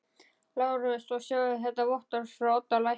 LÁRUS: Og sjáið svo þetta vottorð frá Oddi lækni.